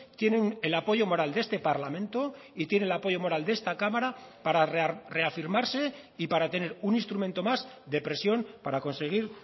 tienen el apoyo moral de este parlamento y tiene el apoyo moral de esta cámara para reafirmarse y para tener un instrumento más de presión para conseguir